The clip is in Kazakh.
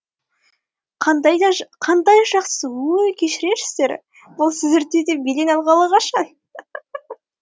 қандай жақсы өй кешірерсіздер бұл сіздерде де белең алғалы қашан